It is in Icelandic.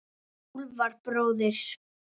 Úlfar bróðir.